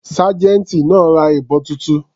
Sergeant náà ra ìbọn titun.